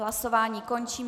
Hlasování končím.